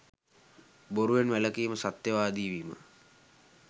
බොරුවෙන්, වැළකීම, සත්‍යවාදී වීම,